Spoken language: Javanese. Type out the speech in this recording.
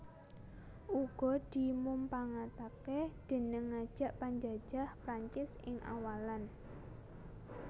Uga dimumpangatake déning ngajak panjajah Prancis ing awalan